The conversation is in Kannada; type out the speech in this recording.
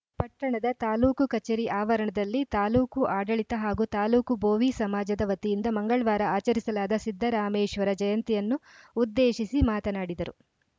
ಪಟ್ಟಣದ ತಾಲೂಕು ಕಚೇರಿ ಆವರಣದಲ್ಲಿ ತಾಲೂಕು ಆಡಳಿತ ಹಾಗೂ ತಾಲೂಕು ಬೋವಿ ಸಮಾಜದ ವತಿಯಿಂದ ಮಂಗಳ್ವಾರ ಆಚರಿಸಲಾದ ಸಿದ್ದರಾಮೇಶ್ವರ ಜಯಂತಿಯನ್ನು ಉದ್ದೇಶಿಸಿ ಮಾತನಾಡಿದರು